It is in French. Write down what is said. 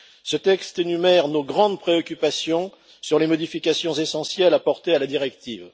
Ce texte énumère nos grandes préoccupations sur les modifications essentielles apportées à la directive.